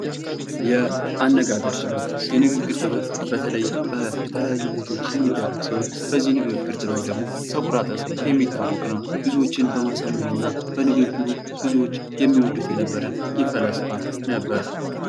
የአነጋገር ጥበብ የንግግር ጥበብ በተለይ በተለያዩ ቦታዎች የሚደረግ ሲሆን በንግግር ጥበብ ደግሞ የሚታወቅ ነው ብዙዎችን በማሳመን እና በንግግሩ ሰዎች የሚወዱት ፈላስፋ ነበር።